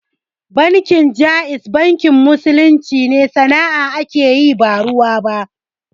Bankin Jaiz bankin musulunci ne, sana'a ake yi ba ruwa.